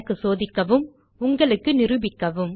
எனக்கு சோதிக்கவும் உங்களுக்கு நிரூபிக்கவும்